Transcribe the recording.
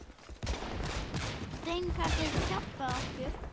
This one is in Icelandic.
Steinka getur hjálpað okkur